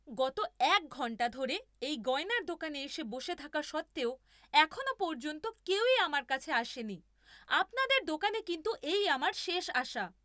গত এক ঘন্টা ধরে এই গয়নার দোকানে এসে বসে থাকা সত্ত্বেও এখনও পর্যন্ত কেউই আমার কাছে আসেনি। আপনাদের দোকানে কিন্তু এই আমার শেষ আসা।